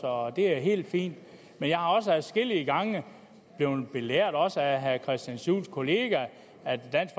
og det er helt fint men jeg er også adskillige gange blevet belært også af herre christian juhls kollega om at dansk